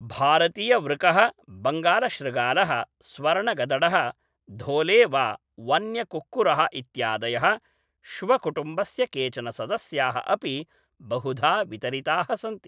भारतीयवृकः, बङ्गालशृगालः, स्वर्णगदडः, धोले वा वन्यकुक्कुरः इत्यादयः श्वकुटुम्बस्य केचन सदस्याः अपि बहुधा वितरिताः सन्ति ।